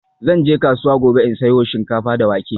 Zan je kasuwa gobe in sayo shinkafa da wake.